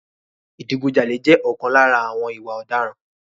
Ìdigun jalè jẹ́ ọ̀kan lára àwọn ìwà ọ̀daràn.